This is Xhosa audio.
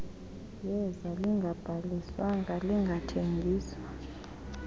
yeza lingabhaliswanga lingathengiswa